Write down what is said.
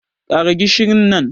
Ƙara gishin nan